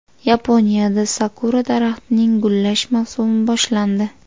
Yaponiyada sakura daraxtining gullash mavsumi boshlandi.